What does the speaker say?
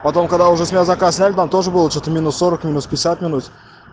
потом когда уже с мерзока снег там тоже было че-то минус сорок минус пятьдесят минут